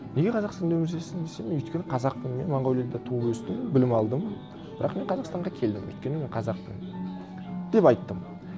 неге қазақстанда өмір сүресің десе мен өйткені қазақпын мен монғолияда туып өстім білім алдым бірақ мен қазақстанға келдім өйткені мен қазақпын деп айттым